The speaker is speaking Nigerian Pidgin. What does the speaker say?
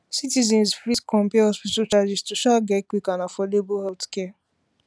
citizens fit compare hospital charges to um get quick and affordable healthcare